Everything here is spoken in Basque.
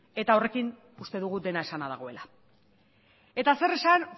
eta horrekin uste dugu dena esana dagoela eta zer esan